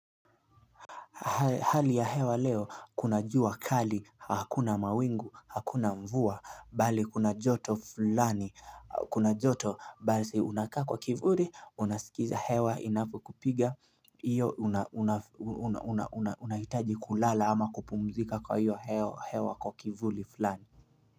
Hali ya hewa leo, kuna jua kali, hakuna mawingu, hakuna mvua, bali kuna joto fulani, kuna joto, basi unakaa kwa kivuli, unasikiza hewa inavyokupiga, iyo unahitaji kulala ama kupumzika kwa hiyo hewa kwa kivuli fulani.